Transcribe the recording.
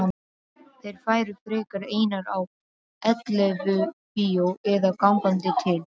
Þær færu frekar einar á ellefubíó eða gangandi til